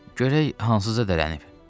Görək hansıca dələnib.